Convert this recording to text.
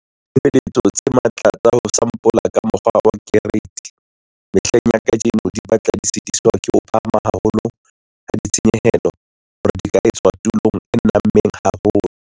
Ditshebeletso tse matla tsa ho sampola ka mokgwa wa keriti mehleng ya kajeno di batla di sitiswa ke ho phahama haholo ha ditshenyehelo hore di ka etswa tulong e nammeng haholo.